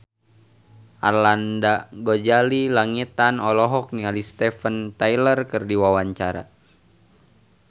Arlanda Ghazali Langitan olohok ningali Steven Tyler keur diwawancara